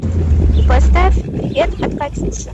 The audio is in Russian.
поставь привет от катюши